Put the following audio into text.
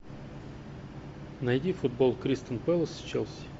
найди футбол кристал пэлас с челси